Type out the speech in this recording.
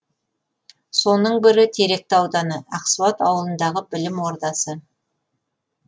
соның бірі теректі ауданы ақсуат ауылындағы білім ордасы